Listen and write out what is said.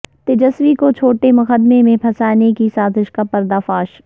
تیجسوی کو جھوٹے مقدمہ میں پھنسانے کی سازش کا پردہ فاش